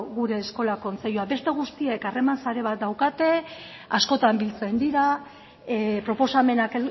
gure eskola kontseilua beste guztiek harreman sare bat daukate askotan biltzen dira proposamenak